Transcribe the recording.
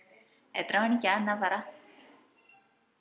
എത്ര മണിക്ക എന്ന പറ?